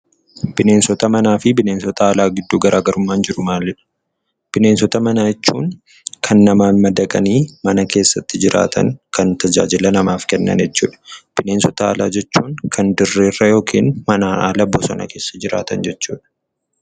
Bineensota manaa fi bineensota alaa gidduu garaa garummaan jiru maalii dha? Bineensota manaa jechuun kan manatti madaqanii mana keessa jiraatan kan tajaajila namaaf Kennan jechuudha. Bineensota alaa jechuun immoo kan bosona jiraatan jechuu dha.